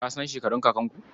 Ka san shekarun kakanku?